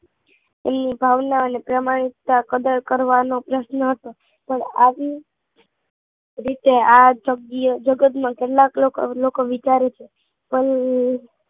એ ભાવના અને પ્રામાણિકતા કદર કરવાનો પ્રશ્ન હતો પણ આવી રીતે આ જગ્ય જગતમાં કેટલાક લોકો લોકો વિચારે છે પણ